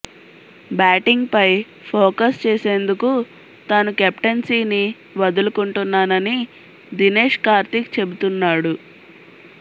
బ్యాటింగ్పై focus చేసేందుకు తాను కెప్టెన్సీని వదులుకుంటున్నానని దినేష్ కార్తీక్ చెబుతున్నాడు